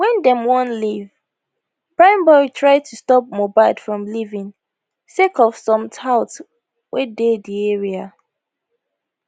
wen dem wan leave primeboy try to stop mohbad from leaving sake of some touts wey dey di area